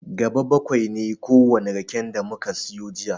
Gaɓa baƙwai ne kowane raken da muka siyo jiya.